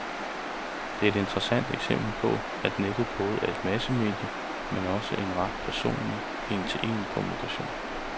Det er et interessant eksempel på, at nettet både er et massemedie, men også en ret personlig, en-til-en kommunikation.